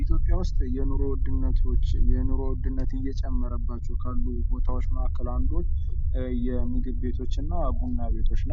ኢትዮጵያ ውስጥ የኑሮ ውድነት እየጨመረ ካለባቸው ቦታዎች አንዱ የምግብ ቤቶችና ቡና ቤቶች